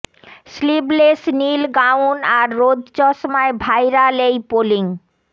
sleeveless নীল gown আর রোদ চশমায় ভাইরাল এই পোলিং